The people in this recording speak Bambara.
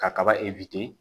Ka kaba